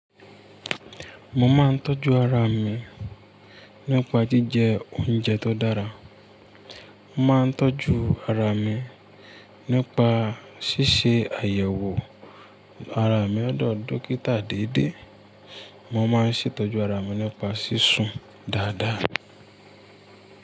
Mo máa ń tọ́jú ara mi nípa jíjẹ oúnjẹ tó dára. Mo máa ń tọ́jú ara mi nípa ṣíṣe àyẹ̀wò ara mi lodọ̀ dókítà déédé. Mo máa ń ṣètọ́jú ara mi nípa sísun dáadáa.